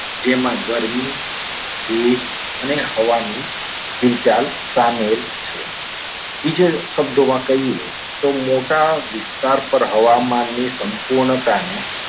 જેમાં ગરમી, ભેજ અને હવાની હિલચાલ સામેલ છે. બીજા શબ્દોમાં કહીએ તો મોટા વિસ્તાર પર હવામાન ની સંપૂર્ણતાને